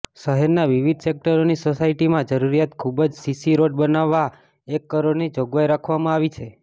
શહેરના વિવિધ સેકટરોની સોસાયટીમાં જરૂરિયાત મુજબ સીસી રોડ બનાવવા એક કરોડની જોગવાઈ રાખવામાં આવી છે